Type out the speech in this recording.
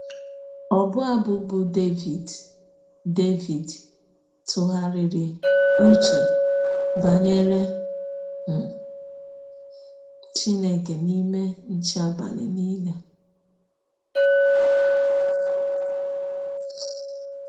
Ọbụ abụ bụ́ Devid ‘ Devid ‘ tụgharịrị ụche banyere um Chineke n’ime nche abalị nile. ’